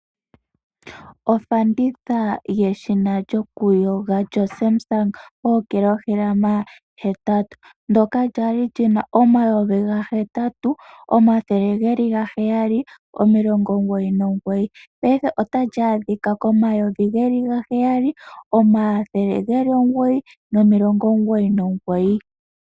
Ofanditha yeshina lyokuyoga lyo Samsung ookilohalama 8 ,ndoka lya li lina oondola omayovi gahetatu omathele gahetatu omilongo heyali nomilongo nomugoyi payife otali adhika komayovi geli gaheyali omathele geli omugoyi nomilongo omugoyi nomugoyi